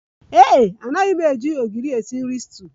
Ee e, anaghị m eji ogiri esi nri stuuyu